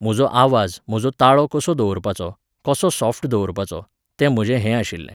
म्हजो आवाज, म्हजो ताळो कसो दवरपाचो, कसो सॉफ्ट दवरपाचो, तें म्हजें हें आशिल्लें.